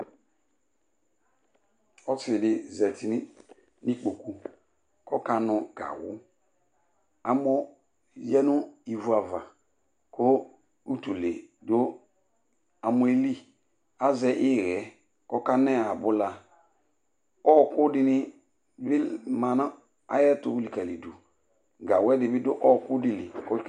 Ɔsɩ dɩ zati n'ikpoku k'ɔka nʋ gawʋ amɔ yǝ nʋ ivu ava kʋ utule dʋ amɔɛ li Azɛ ɩɣɛ k'ɔka nɛ abʋla Ɔɔkʋ dɩnɩ bɩ ma na ayɛtʋ likǝlidʋ ,gawʋɛdɩnɩ dʋ ɔɔkʋɛdɩ li